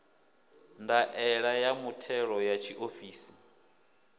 ndaela ya muthelo ya tshiofisi